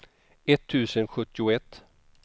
etttusen sjuttioett